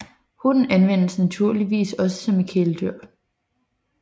Hunden anvendes naturligvis også som kæledyr